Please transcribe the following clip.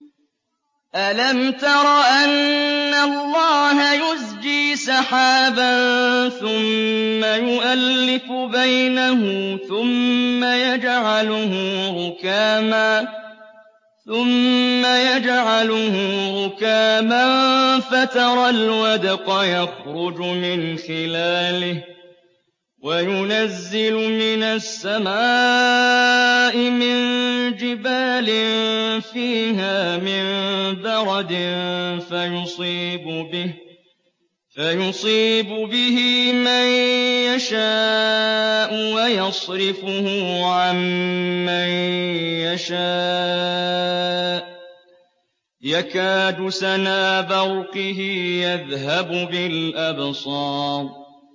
أَلَمْ تَرَ أَنَّ اللَّهَ يُزْجِي سَحَابًا ثُمَّ يُؤَلِّفُ بَيْنَهُ ثُمَّ يَجْعَلُهُ رُكَامًا فَتَرَى الْوَدْقَ يَخْرُجُ مِنْ خِلَالِهِ وَيُنَزِّلُ مِنَ السَّمَاءِ مِن جِبَالٍ فِيهَا مِن بَرَدٍ فَيُصِيبُ بِهِ مَن يَشَاءُ وَيَصْرِفُهُ عَن مَّن يَشَاءُ ۖ يَكَادُ سَنَا بَرْقِهِ يَذْهَبُ بِالْأَبْصَارِ